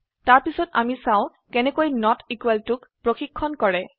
তাৰ পিছত আমি চাও কেনেকৈ নট ইকুয়েল টুক পৰিক্ষন কৰে